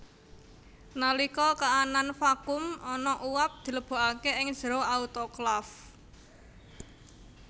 Nalika kaanan vakum ana uap dilebokake ing jero autoklaf